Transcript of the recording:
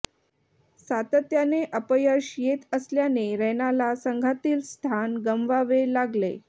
सातत्याने अपयश येत असल्याने रैनाला संघातील स्थान गमवावे लागले